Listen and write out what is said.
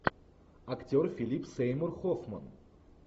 актер филип сеймур хоффман